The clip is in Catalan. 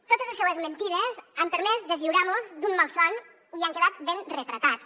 totes les seues mentides han permès deslliurar mos d’un malson i han quedat ben retratats